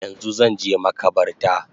Yanzu zanje makabarta